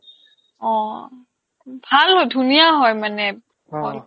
অ, ভাল হয় ধুনীয়া হয় মানে hall